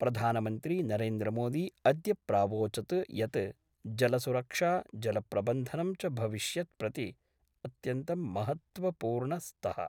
प्रधानमन्त्री नरेन्द्रमोदी अद्य प्रावोचत् यत् जलसुरक्षा जलप्रबन्धनं च भविष्यत् प्रति अत्यन्तं महत्त्वपूर्ण स्तः।